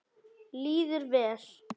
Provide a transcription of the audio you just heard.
Líður vel.